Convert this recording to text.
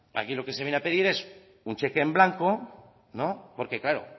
aquí lo que se viene a pedir es un cheque en blanco porque claro